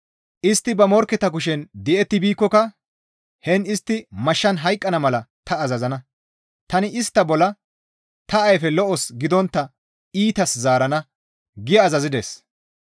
Istti ba morkketa kushen di7etti biikkoka heen istti mashshan hayqqana mala ta azazana; tani istta bolla ta ayfe lo7os gidontta iitas zaarana» gi azazides.